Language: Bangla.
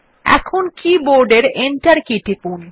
এখন কী বোর্ড এর এন্টার কী টিপুন